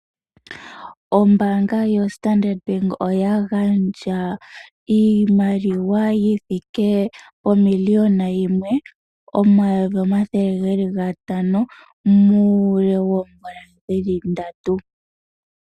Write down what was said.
Ombaanga yo standard bank oya gandja iimaliwa yithike pomiliyona yimwe, omayovi omathele gatano muule woomvula dhili ndatu.